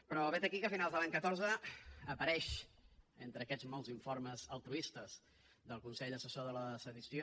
però vet aquí que a finals de l’any catorze apareix entre aquests molts informes altruistes del consell assessor de la sedició